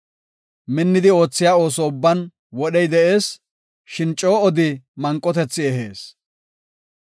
Minnidi oothiya ooso ubban wodhey de7ees; shin coo odi manqotethi ehees.